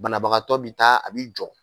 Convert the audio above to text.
Banabagatɔ bi taa a bi jɔ.